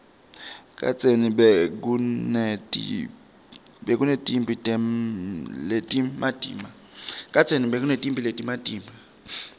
kadzeni bekunetimphi letimatima